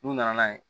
N'u nana n'a ye